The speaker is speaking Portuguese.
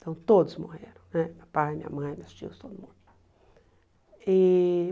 Então todos morreram né, meu pai, minha mãe, meus tios, todo mundo e.